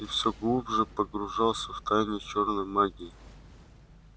и все глубже погружался в тайны чёрной магии